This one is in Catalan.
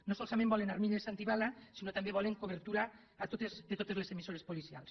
no solament volen armilles antibales sinó que també volen cobertura a totes les emissores policials